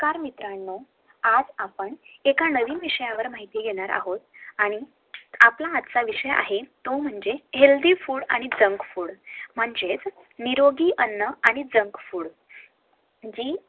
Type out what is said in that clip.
तर मित्रांनो आज आपण एका नवईन विषयावर माहिती घेणार आहोत आजचा आपला विषय आहे तो म्हणजे HEALTHY FOOD आणि JUNK FOOD म्हणजेच नेरोगी अन्न आणि JUNK FOOD जी